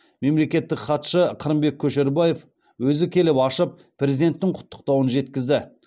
мемлекеттік хатшы қырымбек көшербаев өзі келіп ашып президенттің құттықтауын жеткізді